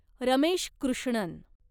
Ramesh Krishnan